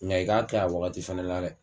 Nka i k'a kɛ a wagati fɛnɛ la dɛ.